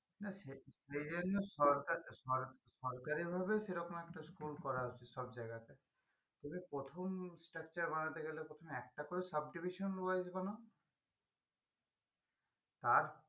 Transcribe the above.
না সে যে জন্য সরকার সরকার সরকারি ভাবে সেরকম একটা school করা উচিত সব জায়গাতে তালে প্রথম structure বানাতে গেলে প্রথমে একটাতেও subdivision বানাও তার